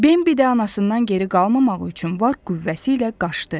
Bimbi də anasından geri qalmamaq üçün var qüvvəsi ilə qaçdı.